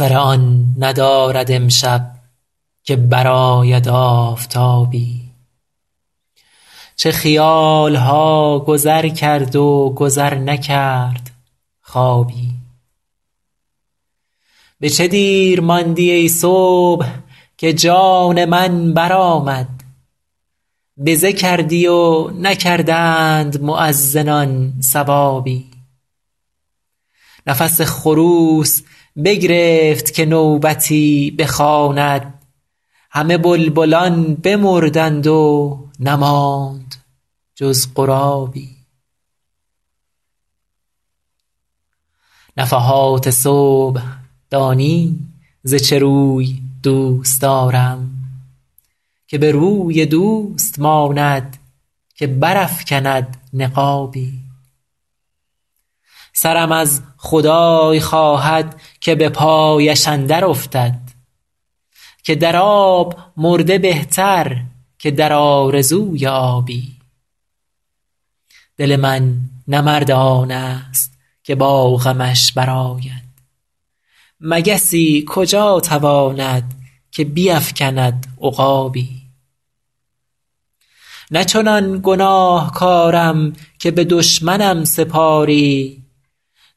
سر آن ندارد امشب که برآید آفتابی چه خیال ها گذر کرد و گذر نکرد خوابی به چه دیر ماندی ای صبح که جان من برآمد بزه کردی و نکردند مؤذنان ثوابی نفس خروس بگرفت که نوبتی بخواند همه بلبلان بمردند و نماند جز غرابی نفحات صبح دانی ز چه روی دوست دارم که به روی دوست ماند که برافکند نقابی سرم از خدای خواهد که به پایش اندر افتد که در آب مرده بهتر که در آرزوی آبی دل من نه مرد آن ست که با غمش برآید مگسی کجا تواند که بیفکند عقابی نه چنان گناهکارم که به دشمنم سپاری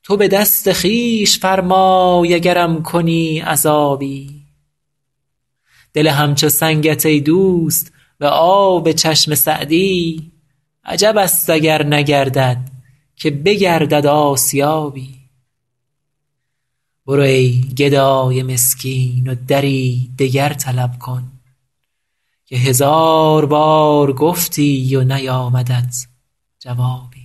تو به دست خویش فرمای اگرم کنی عذابی دل همچو سنگت ای دوست به آب چشم سعدی عجب است اگر نگردد که بگردد آسیابی برو ای گدای مسکین و دری دگر طلب کن که هزار بار گفتی و نیامدت جوابی